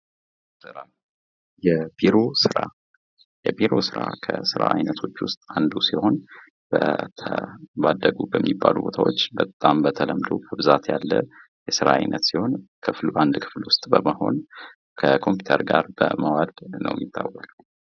ስራ የቢሮ ስራ:- የቢሮ ስራ ከስራ አይነቶች ዉስጥ አንዱ ሲሆን በተለይ አደጉ በሚባሉ ቦታዎች በጣም በተለምዶ በብዛት ያለ የስራ አይነት ሲሆን ክፍል ዉስጥ በመሆን ከኮምፐመዩተር ጋር መዋል ነዉ የሚታወቀዉ።